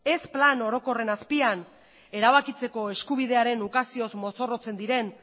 ez plan orokorren azpian erabakitzeko eskubidearen ukazioz mozorrotzen diren